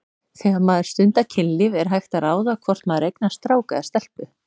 Þegar maður stundar kynlíf er hægt að ráða hvort maður eignast strák eða stelpu?